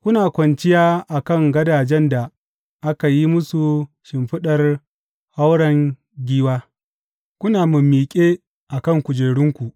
Kuna kwanciya a kan gadajen da aka yi musu shimfiɗar hauren giwa kuna mimmiƙe a kan kujerunku.